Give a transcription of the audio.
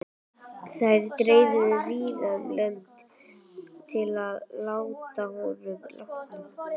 Þær dreifðust víða um lönd að honum látnum.